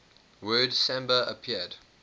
word samba appeared